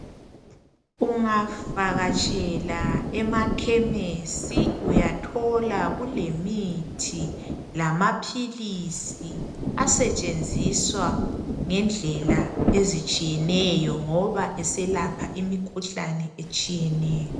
Ungavakatshela emachemist uyathola okulemithi lamaphilisi asetshenziswa ngendlela ezitshiyeneyo ngoba eselapha imikhuhlane etshiyeneyo